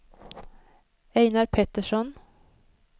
Ejnar Petersson